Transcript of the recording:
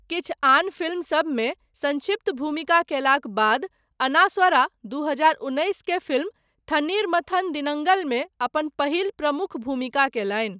किछु आन फिल्म सबमे, सङ्क्षिप्त भूमिका कयलाक बाद, अनास्वरा दू हजार उन्नैस केर फिल्म, 'थन्नीर मथन दिनङ्गल'मे अपन पहिल प्रमुख भूमिका कयलनि।